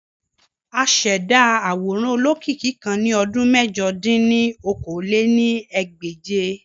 Àṣẹda aworan olokiki kan ni ọdun mẹ̀jọ dín ní okòó-lé-ní-ẹgbẹ́je.